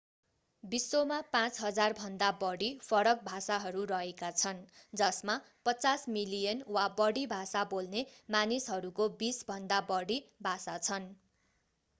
विश्वमा 5,000भन्दा बढी फरक भाषाहरू रहेका छन् जसमा 50 मिलियन वा बढी भाषा बोल्ने मानिसहरूको बीसभन्दा बढि भाषा छन्